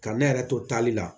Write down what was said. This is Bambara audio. Ka ne yɛrɛ to taali la